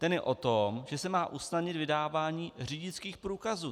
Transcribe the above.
Ten je o tom, že se má usnadnit vydávání řidičských průkazů.